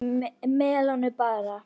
Melónur bara!